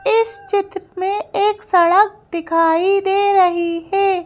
इस चित्र में एक सड़क दिखाई दे रही है।